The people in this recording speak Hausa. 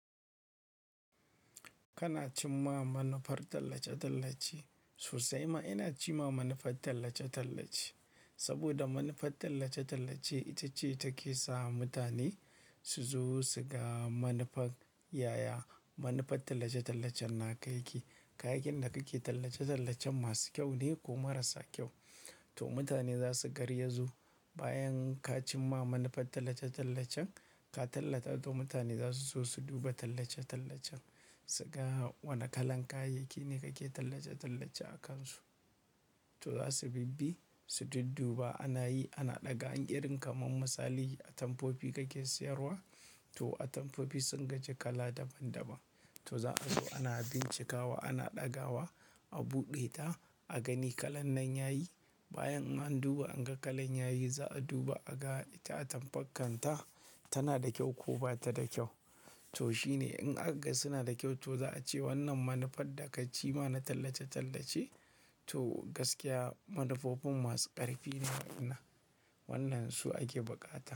Kana cimma manufar tallace-tallace. Sosai ma ina cimma manufar tallace-tallace. Saboda manufar tallace-tallace ita ce take sa mutane su zo su ga manufar yaya manufar tallace-tallacen na ka yake. Kayayyakin da kake tallace-tallacen masu kyau ne ko marasa kyau? To mutane za su garzayo bayan ka cimma manufar tallace-tallacen, ka tallata to mutane za su zo su duba tallace-tallacen, su ga wanne kalan kayayyakin ne kake tallace-tallace akansu. To za su bibbi, su dudduba ana yi, ana ɗaga, in irin kamar misali atamfofi kake siyarwa. To atamfofi sun gaji kala daban-daban. To za a zo ana bincikawa, ana ɗagawa, a buɗe ta, a gani kalar nan yayi. Bayan an duba an ga kalan yayi, za a duba a ga ita atamfar kan ta tana da kyau ko bata da kyau. To shine in aka ga suna da kyau to za a ce wannan manufar da ka cimma na tallace-tallace to gaskiya manufofin masu ƙarfi ne wa in nan. Wannan su ake buƙata.